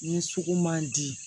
Ni sugu man di